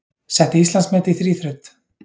Setti Íslandsmet í þríþraut